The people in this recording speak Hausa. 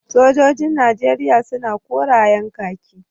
Sojojin najeriya suna korayen kaki